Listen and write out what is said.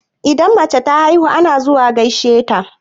Idan mace ta haihu ana zuwa gaishe ta.